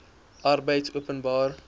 arbeidopenbare